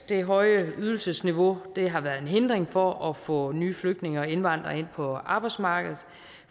det høje ydelsesniveau har været en hindring for at få nye flygtninge og indvandrere ind på arbejdsmarkedet